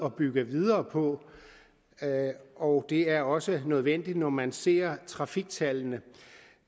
at bygge videre på og det er også nødvendigt når man ser trafiktallene